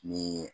Ni